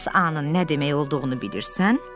Bəs A-nın nə demək olduğunu bilirsən?